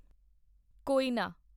ਕੋਇਨਾ